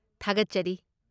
ꯊꯥꯒꯠꯆꯔꯤ꯫